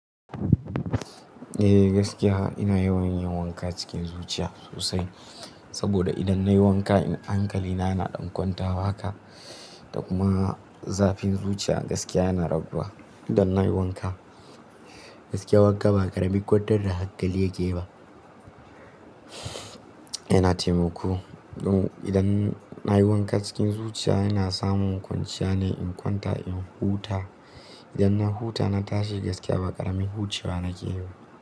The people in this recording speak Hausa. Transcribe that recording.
Eh, gaskiya ina yawan yin wanka cikin zuciya sosai. Saboda idan nayi wanka hankali na yana dan kwanta wa haka, da kuma zafin zuciya gaskiya yana rabuwa. Idan nayi wanka, gaskiya wanka ba ƙarami ƙwatar da hankali yake ba. Yana taimako, idan nayi wanka cikin zuciya ina samun kwanciya ne in kwanta in huta. Idan na huta na tashi gaskiya ba ƙarami hucewa nake yi ba.